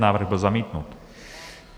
Návrh byl zamítnut.